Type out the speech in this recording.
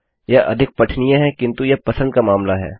यह अधिक पठनीय है किंतु यह पसंद का मामला है